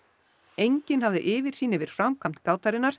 enginn hafði yfirsýn yfir framkvæmd